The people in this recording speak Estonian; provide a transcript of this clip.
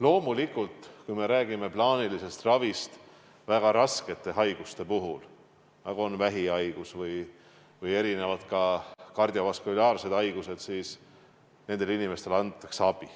Loomulikult, kui me räägime plaanilisest ravist, siis väga raskete haiguste puhul, nagu on vähihaigus või kardiovaskulaarsed haigused, inimestele abi antakse.